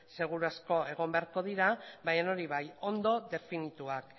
seguru asko egon beharko dira baina hori bai ondo definituak